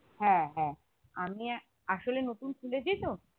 হ্যাঁ হ্যাঁ আমি আহ আসলে নতুন খুলেছি তো